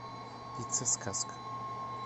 пицца сказка